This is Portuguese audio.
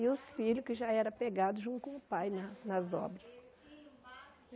E os filhos que já eram apegados junto com o pai né nas obras.